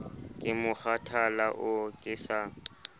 ke mokgathala oo ke sa